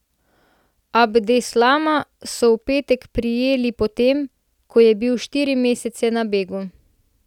Abdeslama so v petek prijeli po tem, ko je bil štiri mesece na begu.